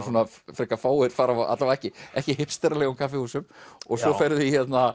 frekar fáir fara á alla vega ekki ekki kaffihúsum og svo ferðu